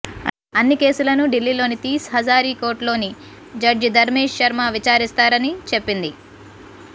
అన్ని కేసులనూ ఢిల్లీలోని తీస్ హజారీ కోర్ట్స్లోని జడ్జి ధర్మేశ్ శర్మ విచారిస్తారని చెప్పింది